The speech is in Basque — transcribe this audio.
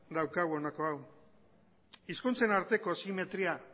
daukagu honako hau hizkuntzen arteko simetria